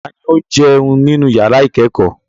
Ta ni ó ń jẹun nínú ìyàrá-ìkẹ́kọ̀ọ́?